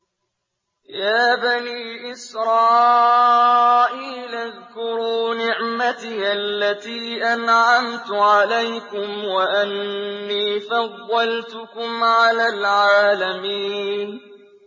يَا بَنِي إِسْرَائِيلَ اذْكُرُوا نِعْمَتِيَ الَّتِي أَنْعَمْتُ عَلَيْكُمْ وَأَنِّي فَضَّلْتُكُمْ عَلَى الْعَالَمِينَ